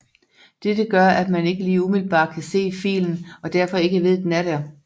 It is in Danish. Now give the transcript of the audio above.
Dette gør at man ikke lige umiddelbart kan se filen og derfor ikke ved den er der